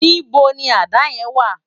Nibó ni àdá yèn wá?